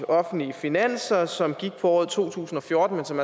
offentlige finanser som gik på året to tusind og fjorten men som